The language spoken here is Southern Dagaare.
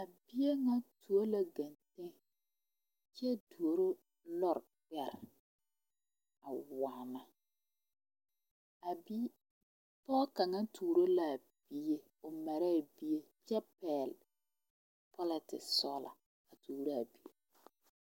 A bie ŋa tuo la ganle kyɛ tuoro lori gbɛre a waana a bie pɔge kaŋa tuoro la a bie o mare bie kyɛ pɛgle polatisi sɔgla a tuoro a bie.